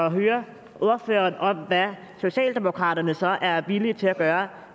at høre ordføreren om hvad socialdemokraterne så er villige til at gøre